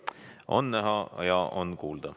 On näha ja on kuulda.